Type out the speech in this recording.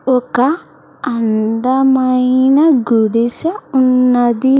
ఒక అందమైన గుడిస ఉన్నది.